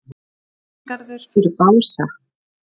Varnargarður fyrir Bása